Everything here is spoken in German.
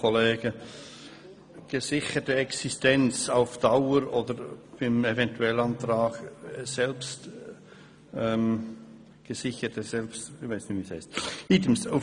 «Gesicherte Existenz auf Dauer» oder im Eventualantrag «selbst gesicherte» – ich weiss auch nicht, wie es heisst.